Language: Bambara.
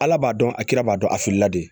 Ala b'a dɔn a kiiri b'a dɔn hakilila de